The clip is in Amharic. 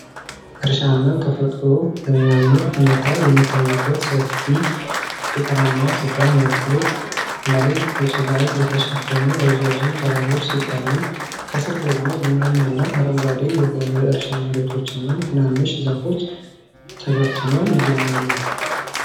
እርሻና ተፈጥሮ በሚያምር ሁኔታ የሚታዩበት ሰፊ ገጠራማ ስፍራ ነው። ሩቅ ላይ በጭጋግ የተሸፈኑ ረዣዥም ተራሮች ሲታዩ፣ ከስር ደግሞ ቡናማና አረንጓዴ የሆኑ የእርሻ መሬቶችና ትናንሽ ዛፎች ተበትነው ይገኛሉ።